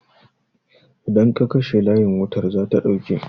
Idan ka kashe layin wutar zata ɗauke